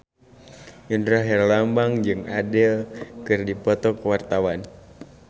Indra Herlambang jeung Adele keur dipoto ku wartawan